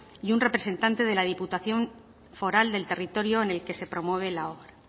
y un representante de la diputación foral del territorio en el que promueve la obra